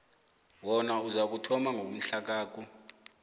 wona uzakuthoma ngomhlakaku